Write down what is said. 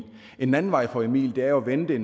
en anden vej for emil er jo at vente